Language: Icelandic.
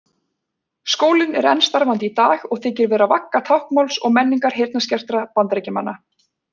Skólinn er enn starfandi í dag og þykir vera vagga táknmáls og menningar heyrnarskertra Bandaríkjamanna.